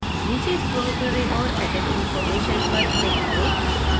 नीचे scroll करें और edit information पर click करें